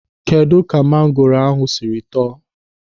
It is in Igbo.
Kedụ ka mangoro ahụ sịrị tọọ?